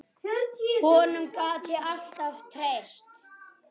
Honum gat ég alltaf treyst.